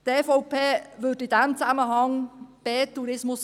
Die EVP würde in diesem Zusammenhang der BE!